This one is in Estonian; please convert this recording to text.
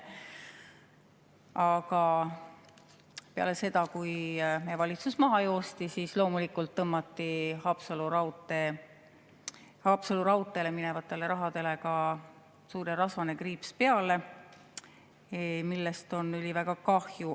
Aga peale seda, kui meie valitsus maha joosti, tõmmati loomulikult Haapsalu raudteele minevale rahale ka suur ja rasvane kriips peale, millest on väga kahju.